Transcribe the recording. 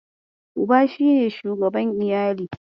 Uba shi ne shugaban iyali.